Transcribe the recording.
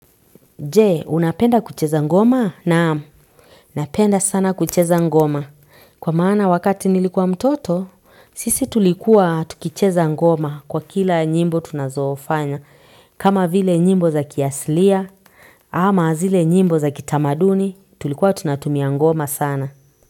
Je, unapenda kucheza ngoma? Naam, napenda sana kucheza ngoma. Kwa maana wakati nilikuwa mtoto sisi tulikuwa tukicheza ngoma kwa kila nyimbo tunazofanya. Kama vile nyimbo za kiasilia, ama zile nyimbo za kitamaduni, tulikuwa tunatumia ngoma sana.